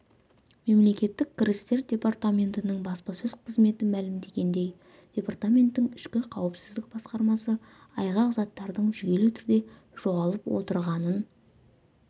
мемлекеттік кірістер департаментінің баспасөз қызметі мәлімдегендей департаменттің ішкі қауіпсіздік басқармасы айғақ заттардың жүйелі түрде жоғалып отырғанын